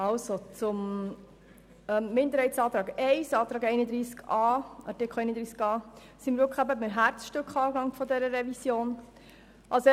Zum Minderheitsantrag I zu Artikel 31a: Hier sind wir bei einem Herzstück der Revision angelangt.